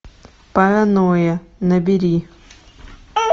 паранойя набери